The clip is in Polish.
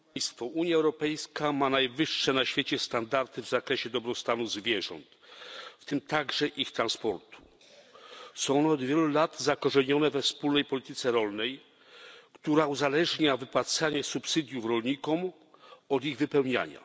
Panie Przewodniczący! Unia Europejska ma najwyższe na świecie standardy w zakresie dobrostanu zwierząt, w tym także ich transportu. Są od wielu lat zakorzenione we wspólnej polityce rolnej, która uzależnia wypłacanie subsydiów rolnikom od ich wypełniania.